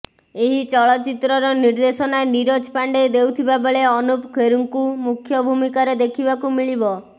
ଏହି ଚଳଚିତ୍ରର ନିର୍ଦ୍ଦେଶନା ନିରଜ ପାଣ୍ଡେ ଦେଉଥିବା ବେଳେ ଅନୁପମ ଖେର୍ଙ୍କୁ ମୁଖ୍ୟ ଭୂମିକାରେ ଦେଖିବାକୁ ମିଳିବ